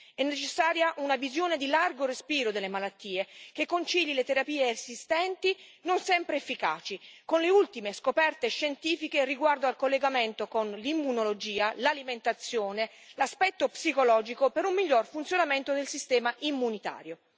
È necessaria una visione di largo respiro delle malattie, che concili le terapie esistenti, non sempre efficaci, con le ultime scoperte scientifiche riguardo al collegamento con l'immunologia, l'alimentazione e l'aspetto psicologico per un miglior funzionamento del sistema immunitario.